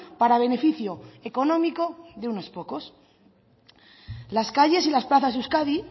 para beneficio económico de unos pocos las calles y las plazas de euskadi